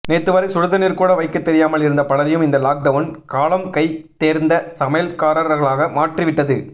நேத்துவரை சுடுதண்ணீர் கூட வைக்க தெரியாமல் இருந்த பலரையும் இந்த லாக்டவுன் காலம் கை தேர்ந்த சமையல்காரர்களாக மாற்றி விட்டது